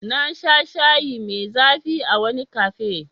Na sha shayi mai zafi ☕️ a wani cafe.